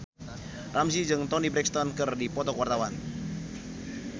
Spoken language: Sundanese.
Ramzy jeung Toni Brexton keur dipoto ku wartawan